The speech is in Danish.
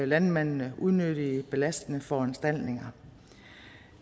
landmændene unødige belastende foranstaltninger